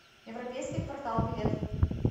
европейский квартал билет